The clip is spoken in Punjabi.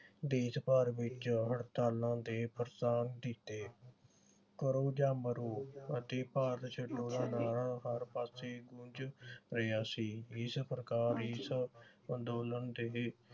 ਦੇਸ਼ ਭਰ ਵਿਚ ਹੜਤਾਲਾਂ ਦੇ ਕੀਤੇ। ਕਰੋ ਜਾ ਮਰੋ ਅਤੇ ਭਾਰਤ ਛੱਡੋ ਦਾ ਨਾਰਾ ਹਰ ਪਾਸੇ ਗੂੰਜ ਰਿਹਾ ਸੀ। ਇਸ ਪ੍ਰਕਾਰ ਇਸ ਅੰਦੋਲਨ ਦੇ